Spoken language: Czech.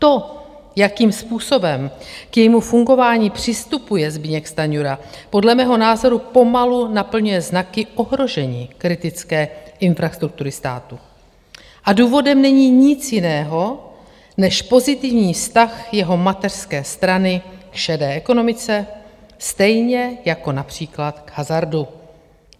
To, jakým způsobem k jejímu fungování přistupuje Zbyněk Stanjura, podle mého názoru pomalu naplňuje znaky ohrožení kritické infrastruktury státu a důvodem není nic jiného než pozitivní vztah jeho mateřské strany k šedé ekonomice, stejně jako například k hazardu.